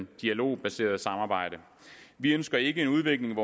dialogbaserede samarbejde vi ønsker ikke en udvikling